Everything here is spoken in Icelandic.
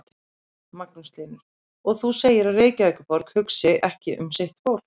Magnús Hlynur: Og þú segir að Reykjavíkurborg hugsi ekki um sitt fólk?